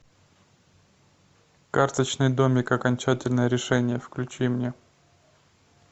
карточный домик окончательное решение включи мне